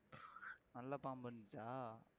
நல்ல பாம்பு வந்துச்சா